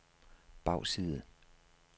bagside